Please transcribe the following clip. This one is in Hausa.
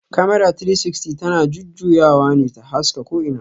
"Camera 360" ta na jujjuyawa ne ta haska ko ina